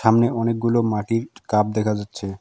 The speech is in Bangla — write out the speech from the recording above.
সামনে অনেকগুলো মাটির কাপ দেখা যাচ্ছে।